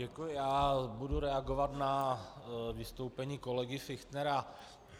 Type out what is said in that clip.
Děkuji, já budu reagovat na vystoupení kolegy Fichtnera.